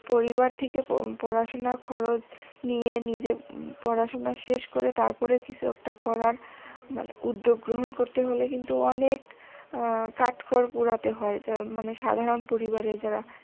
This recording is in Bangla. পরিবার থেকে পড়াশুনার খরচ নিয়ে নিজের পড়াশুনা শেষ করে তারপর কিছু একটা করার মানে উদ্যোগ গ্রহন করতে হলে কিন্তু অনেক আহ কাঠখড় পোড়াতে হয় যা মানে সাধারণ পরিবারের দ্বারা